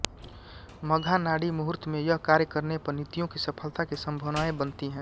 मघा नाडी मुहूर्त में यह कार्य करने पर नितियों की सफलता की संभावनाएं बनती है